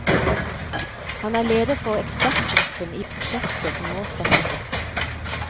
Han er leder for ekspertgruppen i prosjektet som nå startes opp.